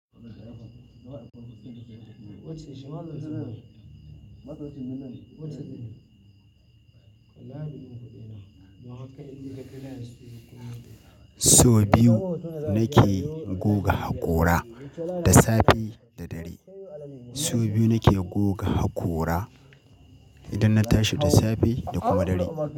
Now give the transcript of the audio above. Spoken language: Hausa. So biyu nake goga hakora da safe da dare. So biyu nake goga hakora idan na tashi da safe da kuma dare.